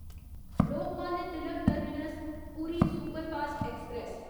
Lokmanya Tilak terminus Puri superfast express